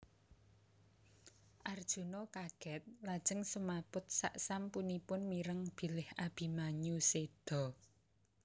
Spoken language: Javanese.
Arjuna kagèt lajeng semaput saksampunipun mireng bilih Abimanyu sèda